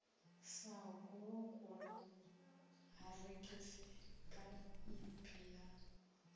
sa gulokulo arikisi phaiphi ya